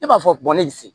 E b'a fɔ ne se